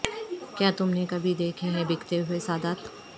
کیا تم نے کبھی دیکھے ہیں بکتے ہوئے سادات